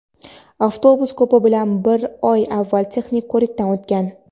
avtobus ko‘pi bilan bir oy avval texnik ko‘rikdan o‘tgan.